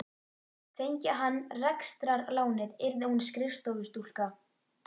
Fengi hann rekstrarlánið yrði hún skrifstofustúlka.